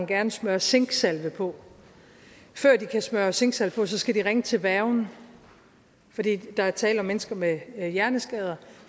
gerne smøre zinksalve på før de kan smøre zinksalve på skal de ringe til værgen fordi der er tale om mennesker med hjerneskader